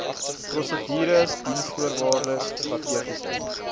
prosedures diensvoorwaardes strategiese